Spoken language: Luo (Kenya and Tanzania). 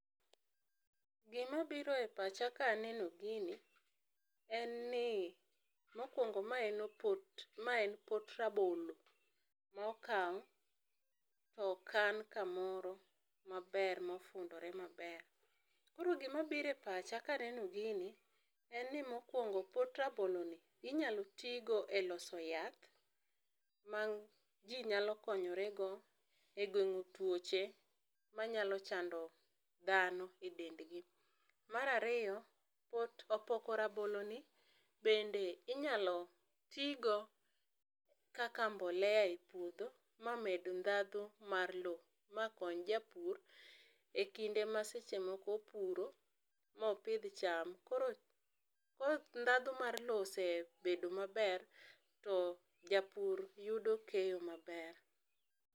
Gi ma biro e pacha ka aneno gini en ni mokuongo ma en opot ma en pot rabolo ma okaw to okan ka moro maber ma ofundore ma ber .Koro gi ma biro e pacha ka aneno gini en ni mokuongo pot rabolo ni inyalo ti godo e loso yath ma ji nyalo konyore go e geng'o twoch ma nyalo chando dhano e dend gi. Mar ariyo, pot opoko rabolo ni bende inyalo ti go kaka mbolea e puodho ma med dhandho mar loo ma kony japur e kinde ma seche moko opuro ma opidh cham. Koro ka dhandho mar loo osebedo ma ber to japur yudo keyo ma ber.